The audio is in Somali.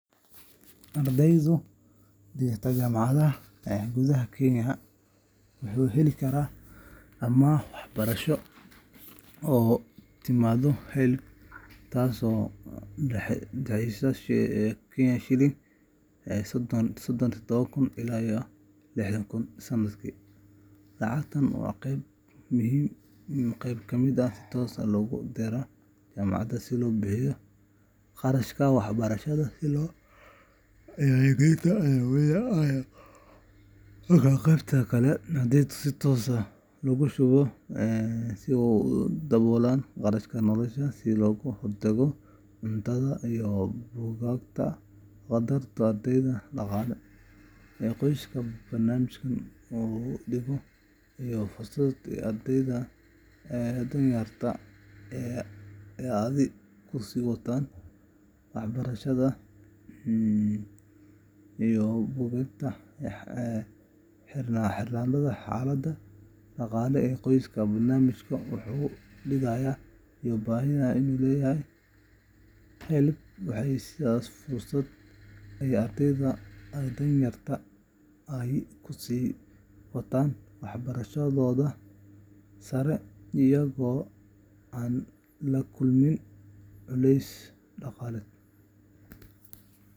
Ardayga dhigta jaamacad gudaha Kenya wuxuu heli karaa amaah waxbarasho oo ka timaadda HELB taas oo u dhaxaysa ilaa sanadkii. Lacagtan waxaa qayb ka mid ah si toos ah loogu diraa jaamacadda si loo bixiyo kharashaadka waxbarashada sida lacagta isku diiwaangelinta iyo midda casharrada, halka qaybta kale ardayga si toos ah loogu shubo si uu ugu daboolo kharashaadka nolosha sida hoyga, cuntada, iyo buugaagta. Qaddarka ardaygu helo wuxuu ku xirnaanayaa xaaladda dhaqaale ee qoyskiisa, barnaamijka uu dhigayo, iyo baahida uu leeyahay. HELB waxay siisaa fursad ay ardayda danyarta ahi ku sii wataan waxbarashadooda sare iyagoo aan la kulmin culeys dhaqaale.